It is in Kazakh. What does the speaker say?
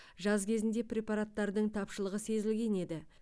жаз кезінде препараттардың тапшылығы сезілген еді